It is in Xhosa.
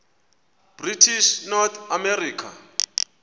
british north america